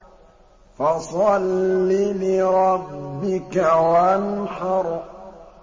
فَصَلِّ لِرَبِّكَ وَانْحَرْ